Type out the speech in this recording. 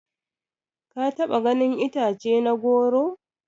Ka taba ganin itace na goro?